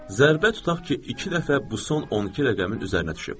Zərbə tutaq ki, iki dəfə bu son 12 rəqəmin üzərinə düşüb.